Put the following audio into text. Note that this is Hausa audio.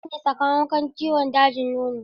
Safiya ta rasu ne sakamakon ciwon dajin nono.